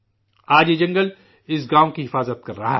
آج یہ جنگل اس گاؤں کی حفاظت کر رہا ہے